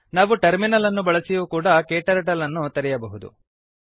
ನಾವು ಟರ್ಮಿನಲ್ ಅನ್ನು ಬಳಸಿಯೂ ಕೂಡ ಕ್ಟರ್ಟಲ್ ಅನ್ನು ತೆರೆಯಬಹುದು